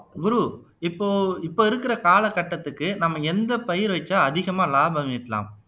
குரு இப்போ இப்ப இருக்கிற காலகட்டத்துக்கு நம்ம எந்த பயிர் வைச்சு அதிகமா லாபம் ஈட்டலாம்